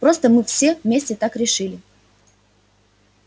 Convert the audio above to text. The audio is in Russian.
просто мы все вместе так решили